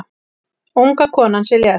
Unga konan sem lést